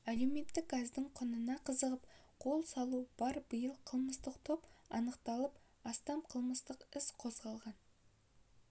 әлеуметтік газдың құнына қызығып қол салу бар биыл қылмыстық топ анықталып астам қылмыстық іс қозғалған